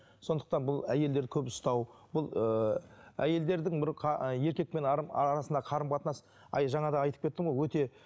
сондықтан бұл әйелдерді көп ұстау бұл ыыы әйелдердің бір ы еркекпен арасындағы қарым қатынас жаңа да айтып кеттім ғой өте